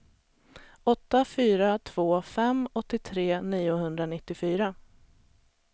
åtta fyra två fem åttiotre niohundranittiofyra